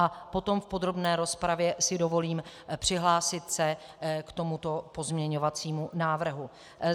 A potom v podrobné rozpravě si dovolím přihlásit se k tomuto pozměňovacímu návrhu.